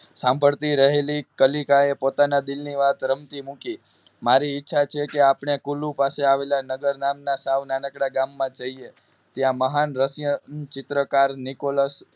સાંભળતી રહી કલિકા એ પોતાના દિલની વાત રમતી મૂકી મારી ઇચ્છા છે કે આપને કુલુ પાસે આવેલા નગર નામના સાવ નાનકડા ગામમાં જઈએ ત્યાં મહાન રશિય ચિત્રકાર નિકોલસ